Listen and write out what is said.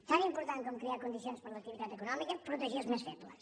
tan important com crear condicions per a l’activitat econòmica protegir els més febles